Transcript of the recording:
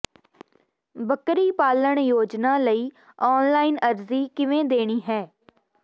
ਬੱਕਰੀ ਪਾਲਣ ਯੋਜਨਾ ਲਈ ਆਨਲਾਈਨ ਅਰਜ਼ੀ ਕਿਵੇਂ ਦੇਣੀ ਹੈ